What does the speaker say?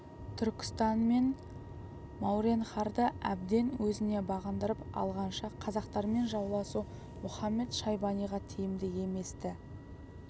түркістан мен мауреннахрды әбден өзіне бағындырып алғанша қазақтармен жауласу мұхамед-шайбаниға тиімді емес-ті